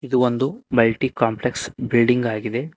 ಇದು ಒಂದು multi complex building ಆಗಿದೆ.